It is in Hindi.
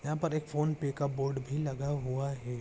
यहाँ पर एक फोनपे का बोर्ड भी लगा हुआ है।